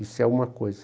Isso é uma coisa.